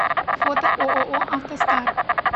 фото ооо автостар